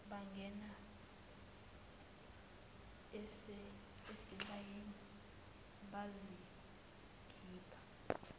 bangena esibayeni bazikhipha